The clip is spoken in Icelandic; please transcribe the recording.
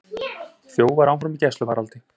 Þjófar áfram í gæsluvarðhaldi